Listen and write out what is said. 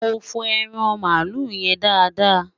mọ fo ẹran malu yen dáadáa